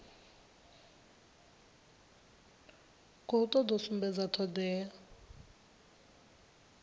khou toda u sumbedza thodea